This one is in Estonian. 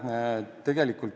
Aitäh!